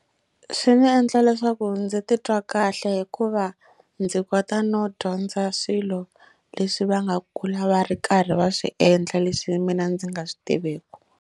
Swi ndzi endla leswaku ndzi titwa kahle hikuva ndzi kota no dyondza swilo leswi va nga kulu va ri karhi va swi endla leswi mina ndzi nga swi tiveki.